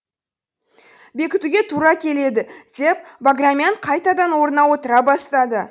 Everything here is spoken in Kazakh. бекітуге тура келеді деп баграмян қайтадан орнына отыра бастады